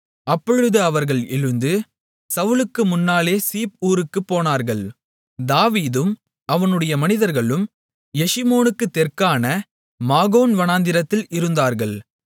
அப்பொழுது அவர்கள் எழுந்து சவுலுக்கு முன்னாலே சீப் ஊருக்குப் போனார்கள் தாவீதும் அவனுடைய மனிதர்களும் எஷிமோனுக்குத் தெற்கான மாகோன் வனாந்திரத்தில் இருந்தார்கள்